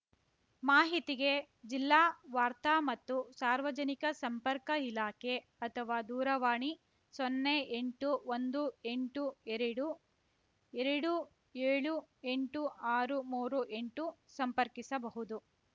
ಮಾಹಿತಿಗೆ ಜಿಲ್ಲಾ ವಾರ್ತಾ ಮತ್ತು ಸಾರ್ವಜನಿಕ ಸಂಪರ್ಕ ಇಲಾಖೆ ಅಥವಾ ದೂರವಾಣಿಸೊನ್ನೆ ಎಂಟು ಒಂದು ಎಂಟು ಎರಡುಎರಡು ಏಳು ಎಂಟು ಆರು ಮೂರು ಎಂಟು ಸಂಪರ್ಕಿಸಬಹುದು